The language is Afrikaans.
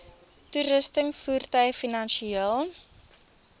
toerusting voertuie finansiële